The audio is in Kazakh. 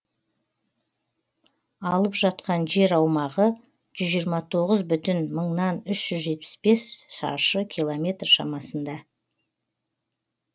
алып жатқан жер аумағы жүз жиырма тоғыз бүтін үш жүз жетпіс бес шаршы километр шамасында